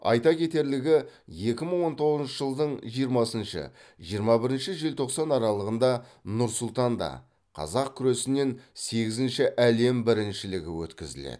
айта кетерлігі екіи мың он тоғызыншы жылдың жиырмасыншы жиырма бірінші желтоқсан аралығында нұр сұлтанда қазақ күресінен сегізінші әлем біріншілігі өткізіледі